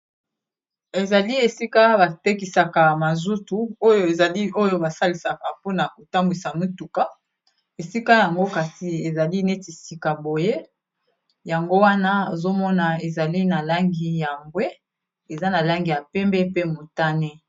ezali esika batekisaka mazutu oyo ezali oyo basalisaka mpona kotambwisa mituka esika yango kasi ezali neti sika boye yango wana ozomona ezali na langi ya mbwe eza na langi ya pembe pe motane